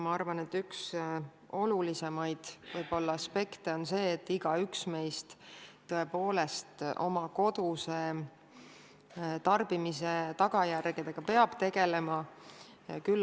Ma arvan, et üks olulisimaid aspekte on see, et igaüks meist peab tõepoolest oma koduse tarbimise tagajärgedega tegelema.